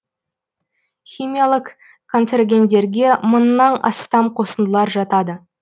химиялық канцерогендерге мыңнан астам қосындылар жатады